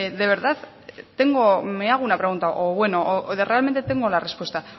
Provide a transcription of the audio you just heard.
de verdad tengo me hago una pregunta o bueno realmente tengo la respuesta